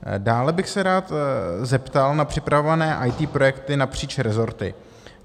Dále bych se rád zeptal na připravované IT projekty napříč rezorty.